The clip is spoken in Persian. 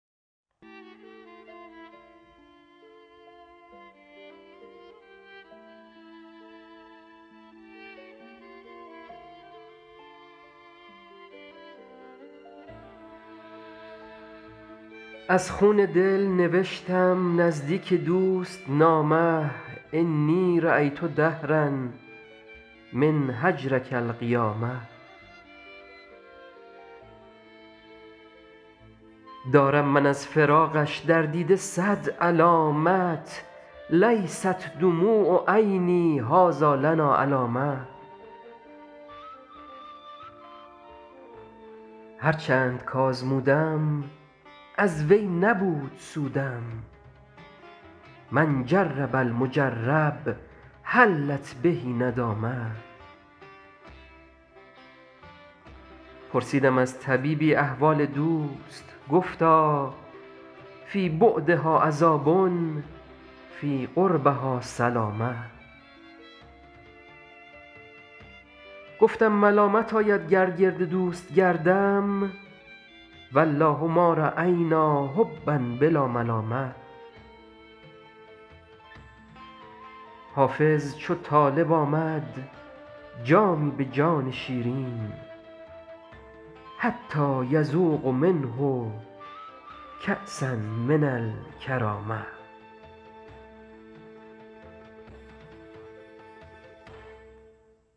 از خون دل نوشتم نزدیک دوست نامه انی رأیت دهرا من هجرک القیامه دارم من از فراقش در دیده صد علامت لیست دموع عینی هٰذا لنا العلامه هر چند کآزمودم از وی نبود سودم من جرب المجرب حلت به الندامه پرسیدم از طبیبی احوال دوست گفتا فی بعدها عذاب فی قربها السلامه گفتم ملامت آید گر گرد دوست گردم و الله ما رأینا حبا بلا ملامه حافظ چو طالب آمد جامی به جان شیرین حتیٰ یذوق منه کأسا من الکرامه